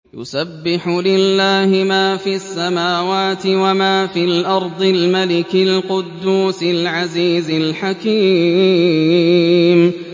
يُسَبِّحُ لِلَّهِ مَا فِي السَّمَاوَاتِ وَمَا فِي الْأَرْضِ الْمَلِكِ الْقُدُّوسِ الْعَزِيزِ الْحَكِيمِ